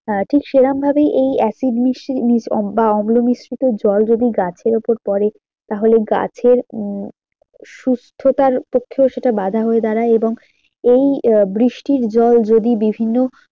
হ্যাঁ ঠিক সেরকম ভাবেই এই acid বা অম্ল মিশ্রিত জল যদি গাছের ওপর পরে তাহলে গাছের উম সুস্থতার পক্ষেও সেটা বাঁধা হয়ে দাঁড়ায় এবং এই আহ বৃষ্টির জল যদি বিভিন্ন